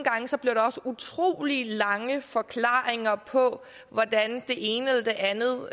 utrolig lange forklaringer på hvordan det ene eller det andet